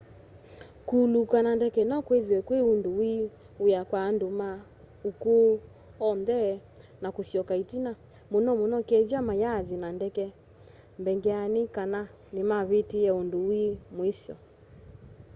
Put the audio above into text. kuuluka na ndeke no kwithwe kwi undu wi wia kwa andu ma ukuu oonthe na kusyoka itina muno muno kethwa mayaathi na ndeke mbeangeni kana nimavitiie undu wi muisyo